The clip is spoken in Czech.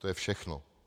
To je všechno.